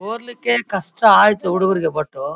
ಓದ್ಲಿಕ್ಕೆ ಕಷ್ಟ ಆಯಿತು ಹುಡುಗರಿಗೆ ಬಟ್ --